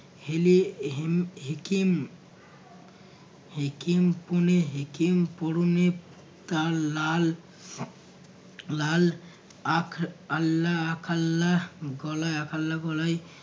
হেলে এহেম হেকেম হেকেম পুনে হেকেম পরণে তার লাল লাল আখ আল্লাহ আখাল্লাহ গলায় আখাল্লাহ গলায়